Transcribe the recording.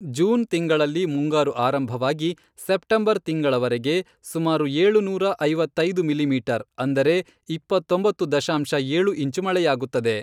June ತಿಂಗಳಲ್ಲಿ ಮುಂಗಾರು ಆರಂಭವಾಗಿ ಸೆಪ್ಟೆಂಬರ್ ತಿಂಗಳವರೆಗೆ ಸುಮಾರು ಏಳುನೂರಾ ಐವತ್ತೈದು ಮಿಲಿಮೀಟರ್ ಅಂದರೆ ಇಪ್ಪತ್ತೊಂಬತ್ತು ದಶಾಂಶ ಏಳು ಇಂಚು ಮಳೆಯಾಗುತ್ತದೆ.